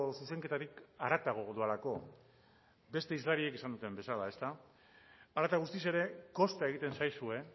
zuzenketarik haratago doalako beste hizlariek esaten duten bezala ezta hala eta guztiz ere kosta egiten zaizue